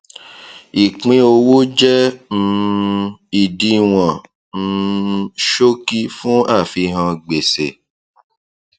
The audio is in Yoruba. ìpínowó jẹ um ìdíwọn um ṣókí fún àfihàn gbèsè